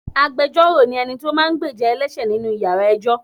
Agbẹjoro ni ẹni tí ó máa ń gbéjà ẹlẹṣẹ nínú ìyára ẹjọ́.